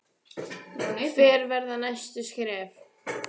Höskuldur: Hver verða næstu skref?